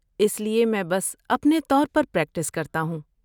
اس لیے میں بس اپنے طور پر پریکٹس کرتا ہوں۔